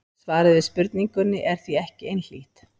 Svarið við spurningunni er því ekki einhlítt.